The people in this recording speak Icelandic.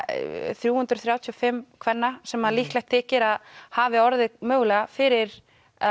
þrjú hundruð þrjátíu og fimm kvenna sem líklegt þykir að hafi orðið mögulega fyrir